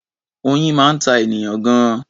Oyin máa ń ta ènìyàn gan-an.